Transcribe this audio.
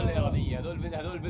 Ayva!